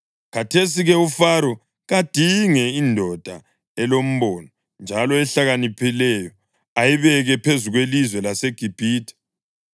Khathesi-ke uFaro kadinge indoda elombono njalo ehlakaniphileyo ayibeke phezu kwelizwe laseGibhithe.